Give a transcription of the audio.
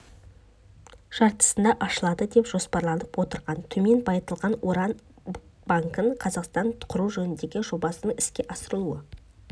жартысында ашылады деп жоспарланып отырған төмен байытылған уран банкін қазақстанда құру жөніндегі жобасының іске асырылу